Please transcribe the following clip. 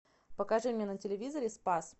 покажи мне на телевизоре спас